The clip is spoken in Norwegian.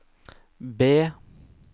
B